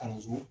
Kalanso